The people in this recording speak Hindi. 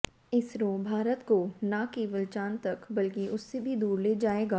इसरो भारत को ना केवल चांद तक बल्कि उससे भी दूर ले जाएगा